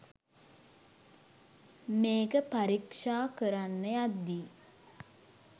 මේක පරීක්ෂා කරන්න යද්දි